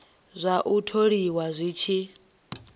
zwa u tholiwa zwi tshi